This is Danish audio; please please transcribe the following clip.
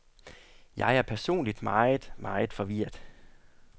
Jeg er personligt meget, meget forvirret.